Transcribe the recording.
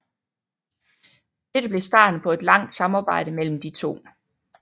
Dette blev starten på et langt samarbejde mellem de to